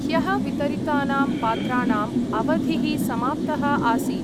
ह्यः वितरितानां पात्राणाम् अवधिः समाप्तः आसीत्।